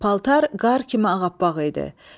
Paltar qar kimi ağappaq idi.